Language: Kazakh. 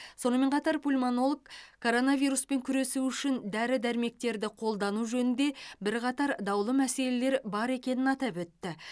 сонымен қатар пульмонолог коронавируспен күресу үшін дәрі дәрмектерді қолдану жөнінде бірқатар даулы мәселелер бар екенін атап өтті